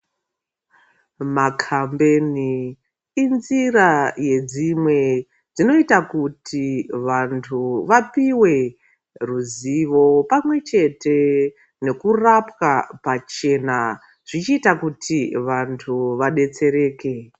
Makambeni inzira yedzimwe dzinoita kuti vantu vapiwa ruzivo pamwechete nekurapwa pachena zvichiita kuti vantu vadetsereke .